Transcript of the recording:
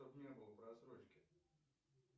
чтобы не было просрочки